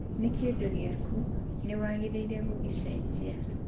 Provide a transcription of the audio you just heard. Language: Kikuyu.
Nĩ kĩndũ gĩaku, nĩ wagĩrĩirũo gũgĩcenjia